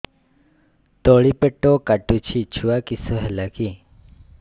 ତଳିପେଟ କାଟୁଚି ଛୁଆ କିଶ ହେଲା କି